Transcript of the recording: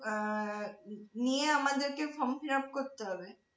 আহ নিয়ে আমাদেরকে form fillup করতে হবে?